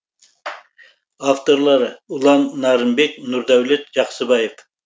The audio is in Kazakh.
авторлары ұлан нарынбек нұрдәулет жақсыбаев